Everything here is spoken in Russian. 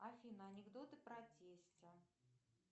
афина анекдоты про тестя